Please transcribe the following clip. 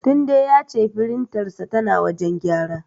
Tunde ya ce firintarsa tana wajen gyara.